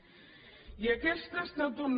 i aquesta ha estat una